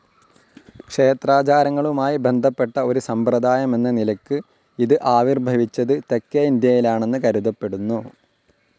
ക്ഷേത്രാചാരങ്ങളുമായി ബന്ധപ്പെട്ട ഒരു സമ്പ്രദായമെന്ന നിലയ്ക്ക് ഇത് ആവിർഭവിച്ചത് തെക്കേ ഇന്ത്യയിലാണെന്ന് കരുതപ്പെടുന്നു.